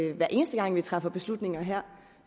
vi hver eneste gang vi træffer beslutninger her